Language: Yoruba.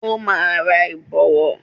Ó máa ra Ìbọ̀wọ́